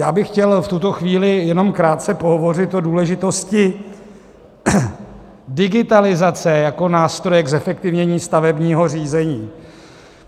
Já bych chtěl v tuto chvíli jenom krátce pohovořit o důležitosti digitalizace jako nástroje k zefektivnění stavebního řízení.